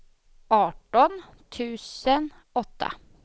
arton tusen åtta